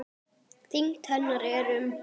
Þyngd hennar er um